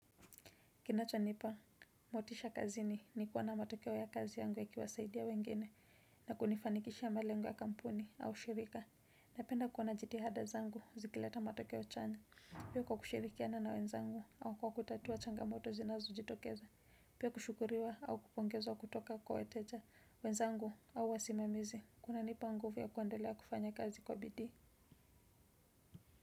Kinachonipa, motisha kazini ni kuwa na matokeo ya kazi yangu yakiwasaidia wengine, na kunifanikisha ya malengo ya kampuni, au shirika. Napenda kuona jitihada zangu, zikileta matokeo chanya. Pia kwa kushirikiana na wenzangu, au kwa kutatuwa changamoto zinazojitokeza. Pia kushukuriwa, au kupongeza, au kutoka kwa weteja. Wenzangu, au wasimamizi, kunanipa nguvu ya kuendelea kufanya kazi kwa bidii.